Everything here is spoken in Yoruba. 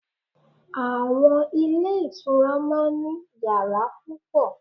Àwon Ilé Ìtura máa n ní yàrá púpọ̀